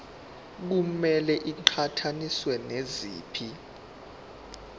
kumele iqhathaniswe naziphi